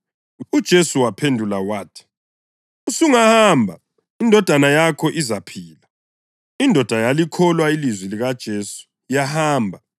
UJesu waphendula wathi, “Usungahamba. Indodana yakho izaphila.” Indoda yalikholwa ilizwi likaJesu yahamba.